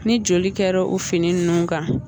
Ni joli kɛra o fini ninnu kan